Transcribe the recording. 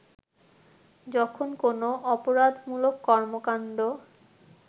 যখন কোন অপরাধমূলক কর্মকান্ড